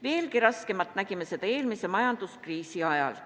Veelgi raskemalt nägime seda eelmise majanduskriisi ajal.